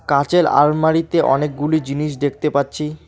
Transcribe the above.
কাঁচের আলমারিতে অনেকগুলি জিনিস দেখতে পাচ্ছি।